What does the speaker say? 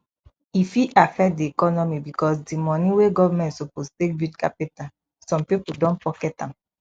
e fit affect di economy because di money wey government suppose take build capital some pipo don pocket am